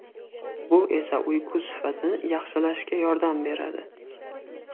Bu esa uyqu sifatini yaxshilashga yordam beradi.